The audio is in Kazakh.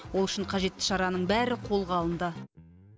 ол үшін қажетті шараның бәрі қолға алынды